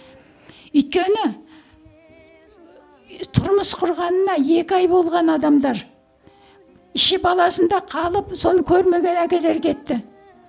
өйткені тұрмыс құрғанына екі ай болған адамдар іші баласында қалып соны көрмеген әкелер кетті